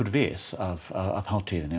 við hátíðinni